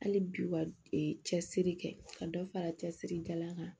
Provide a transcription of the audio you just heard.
Hali bi ka cɛsiri kɛ ka dɔ fara cɛsiri jalan kan